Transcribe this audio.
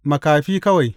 Makafi kawai!